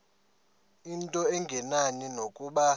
into engenani nokuba